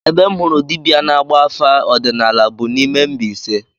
Ebe m hụrụ dibịa na-agba afa ọdịnala bụ n'ime Mbaise